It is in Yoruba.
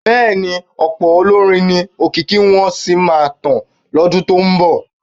Bẹ́ẹ̀ni, ọ̀pọ̀ olórin ni òkìkí wọn sì máa tàn lọ́dún tó ń bọ̀.